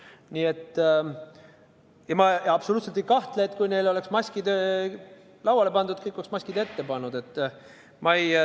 Ma ei kahtle absoluutselt, et kui neile oleks maskid lauale pandud, siis oleks kõik maskid ette pannud.